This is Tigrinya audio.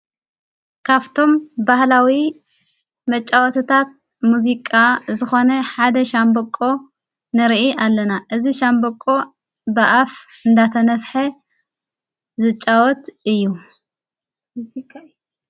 ካፍቶም ባህላዊ መጫወትታት ሙዚቃ ዝኾነ ሓደ ሻንበቆ ንርኢ ኣለና እዝ ሻንበቆ ብኣፍ እንዳተነፍሐ ዘጫወት እዩ።